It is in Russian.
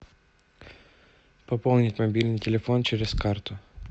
пополнить мобильный телефон через карту